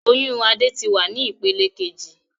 Oyún Adé tí wá ní ìpele kejì